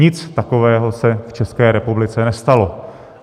Nic takového se v České republice nestalo.